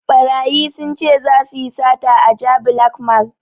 Ɓarayi sun ce zasu yi sata a jabi lake mall